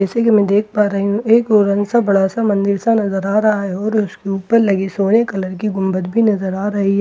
जैसे कि मैं देख पा रही हूं एक ओरन सा बड़ा सा मंदिर सा नजर आ रहा है और उसके ऊपर लगी सोने कलर की गुम्बद भी नजर आ रही है और उसके--